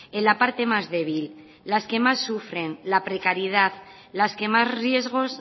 en la parte más débil las que más sufren la precariedad las que más riesgos